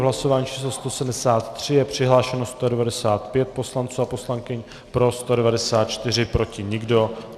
V hlasování číslo 137 je přihlášeno 195 poslanců a poslankyň, pro 194, proti nikdo.